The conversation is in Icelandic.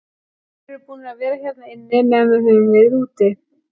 Þeir eru búnir að vera hérna inni meðan við höfum verið úti.